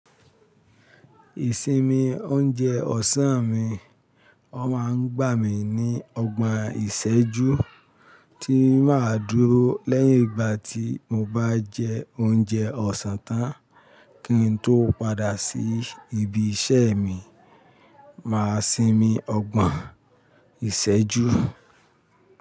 Ìsinmi oúnjẹ ọ̀sán mi, ọ máa ń gbà mí ní ọgbọ̀n ìṣẹ́jú tí má dúró lẹ́yìn ìgbà tí mo bá jẹ oúnjẹ ọ̀sán tán kí n tó padà sí ibi iṣẹ́ mi, màá sinmi ọgbọ̀n ìṣẹ́jú.